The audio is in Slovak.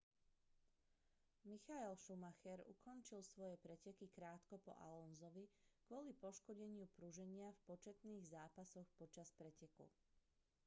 michael schumacher ukončil svoje preteky krátko po alonsovi kvôli poškodeniu pruženia v početných zápasoch počas preteku